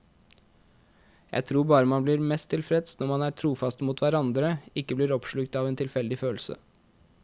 Jeg tror bare man blir mest tilfreds når man er trofaste mot hverandre, ikke blir oppslukt av en tilfeldig følelse.